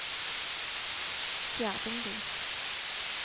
Fjerdingby